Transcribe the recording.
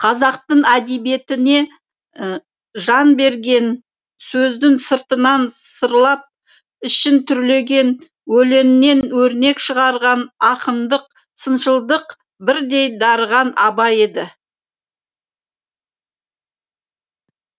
қазақтың әдебиетіне жан берген сөздің сыртынан сырлап ішін түрлеген өлеңнен өрнек шығарған ақындық сыншылдық бірдей дарыған абай еді